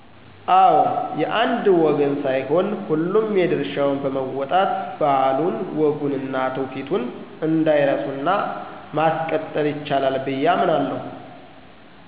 አዎ የአንድ ወገን ሳይሆን ሁሉም የድርሻውን በመወጣት ባህሉን ወጉን እና ትውፊቱን እንዳይረሱ እና ማሰቀጠል ይቻላል ብየ አምናለሁ።